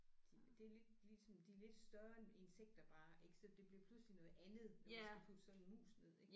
De det lidt ligesom de er lidt større end insekter bare ik så det bliver pludselig noget andet når man skal putte sådan en mus ned ik